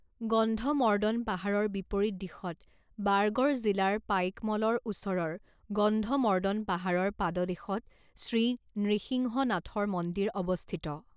গন্ধমৰ্দন পাহাৰৰ বিপৰীত দিশত বাৰগড় জিলাৰ পাইকমলৰ ওচৰৰ গন্ধমৰ্দন পাহাৰৰ পাদদেশত শ্ৰী নৃসিংহনাথৰ মন্দিৰ অৱস্থিত।